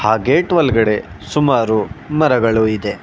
ಆ ಗೇಟ್ ಒಲಗಡೆ ಸುಮಾರು ಮರಗಳು ಇದೆ.